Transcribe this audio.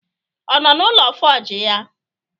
Ọ nọ n'ụlọ fọji ya?